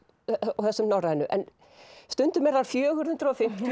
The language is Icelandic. og þessum norrænu en stundum eru þær fjögur hundruð og fimmtíu